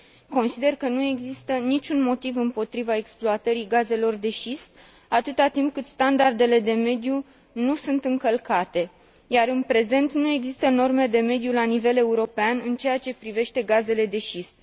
Consider că nu există niciun motiv împotriva exploatării gazelor de șist, atâta timp cât standardele de mediu nu sunt încălcate, iar în prezent nu există norme de mediu la nivel european în ceea ce privește gazele de șist.